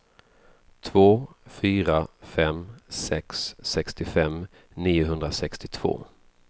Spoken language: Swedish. två fyra fem sex sextiofem niohundrasextiotvå